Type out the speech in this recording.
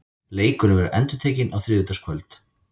Leikurinn verður endurtekinn á þriðjudagskvöld.